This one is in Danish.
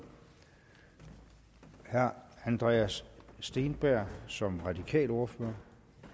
herre andreas steenberg som radikal ordfører